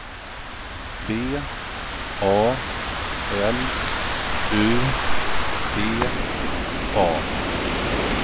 V A L U T A